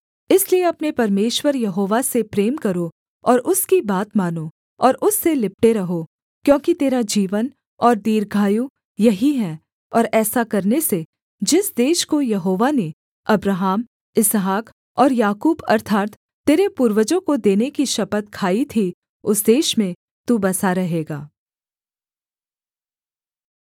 इसलिए अपने परमेश्वर यहोवा से प्रेम करो और उसकी बात मानो और उससे लिपटे रहो क्योंकि तेरा जीवन और दीर्घ आयु यही है और ऐसा करने से जिस देश को यहोवा ने अब्राहम इसहाक और याकूब अर्थात् तेरे पूर्वजों को देने की शपथ खाई थी उस देश में तू बसा रहेगा